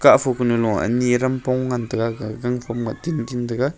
afo panyu lo ani aram pong ngan tega ga gangphom ngah tintin tega.